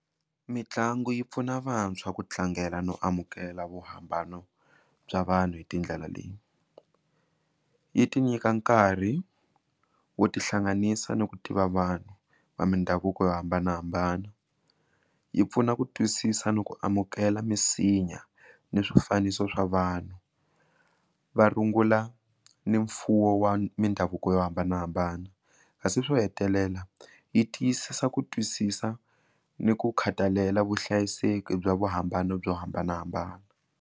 Mitlangu yi pfuna vantshwa kutlangela no amukela vo hambana bya vanhu hi tindlela leyi yi ti nyika nkarhi wo tihlanganisa ni ku tiva vanhu va mindhavuko yo hambanahambana yi pfuna ku twisisa ni ku amukela misinya ni swifaniso swa vanhu va rungula ni mfuwo wa mindhavuko yo hambanahambana kasi swo hetelela yi tiyisisa ku twisisa ni ku khathalela vuhlayiseki bya vuhambano byo hambanahambana.